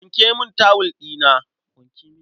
Wanke min tawul ɗina.